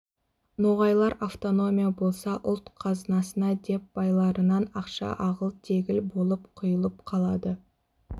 ноғайлар автономия болса ұлт қазынасына деп байларынан ақша ағыл-тегіл болып құйылып қалады